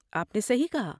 آپ نے صحیح کہا۔